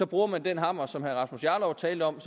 bruger man den hammer som herre rasmus jarlov talte om